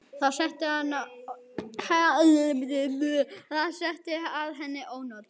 Það setti að henni ónot.